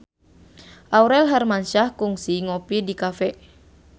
Aurel Hermansyah kungsi ngopi di cafe